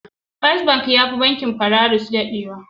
First bank yafi banking Polaris dadewa.